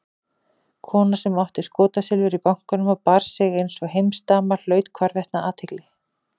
Kona sem átti skotsilfur í bankanum og bar sig einsog heimsdama hlaut hvarvetna athygli.